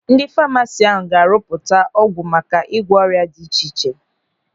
Ndị famasi ahụ ga-arụpụta ọgwụ maka ịgwọ ọrịa dị iche iche.